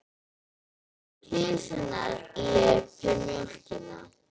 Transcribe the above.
Kisurnar lepja mjólkina.